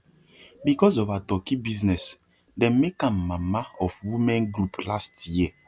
because of her turkey business dem make am mama of women group last year